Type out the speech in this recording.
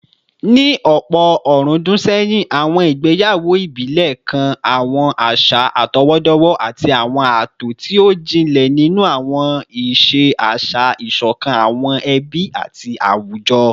Ní ọ̀pọ̀ ọ̀rúndún sẹ́yìn, àwọn ìgbéyàwó ìbílẹ̀ kan àwọn àṣà àtọwọ́dọ́wọ́ àti àwọn ààtò tí ó jinlẹ̀ nínú àwọn ìṣe àṣà, ìṣọ̀kan àwọn ẹbí àti àwùjọ